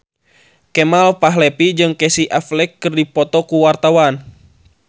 Kemal Palevi jeung Casey Affleck keur dipoto ku wartawan